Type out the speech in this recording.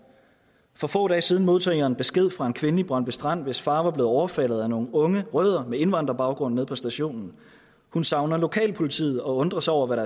for få dage siden modtog jeg en besked fra en kvinde i brøndby strand hvis far var blevet overfaldet af nogle unge rødder med indvandrerbaggrund nede på stationen hun savner lokalpolitiet og undrer sig over hvad